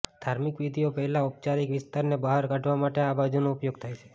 ધાર્મિક વિધિઓ પહેલાં ઔપચારિક વિસ્તારને બહાર કાઢવા માટે આ બાજુનો ઉપયોગ થાય છે